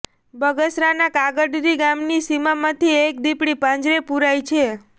બગસરાનાં કાગદડી ગામની સીમમાંથી એક દીપડી પાંજરે પુરાઇ છે